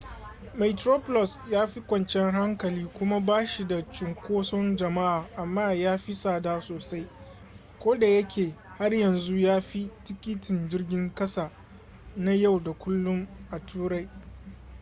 metroplus ya fi kwanciyar hankali kuma ba shi da cunkoson jama'a amma ya fi tsada sosai kodayake har yanzu ya fi tikitin jirgin ƙasa na yau da kullun a turai